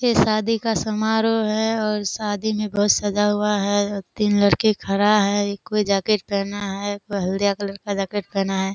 ये शादी का समारोह है और शादी में बहोत सजा हुआ है तीन लड़के खड़ा है कोई जेकेट पहना है कोई हल्दिया कलर का जेकेट पहना है।